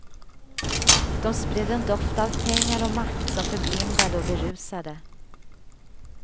De spred en doft av pengar och makt som förblindade och berusade.